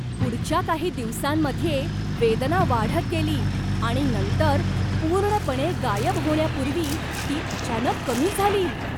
पुढच्या काही दिवसांमध्ये वेदना वाढत गेली आणि नंतर पूर्णपणे गायब होण्यापूर्वी ती अचानक कमी झाली!